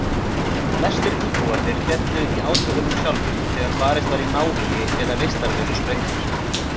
Flestir íbúarnir féllu í átökunum sjálfum þegar barist var í návígi eða vistarverur sprengdar.